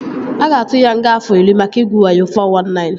A ga-atu ya nga afọ iri maka igwu wayo (419)